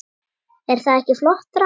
Er það ekki flott drama?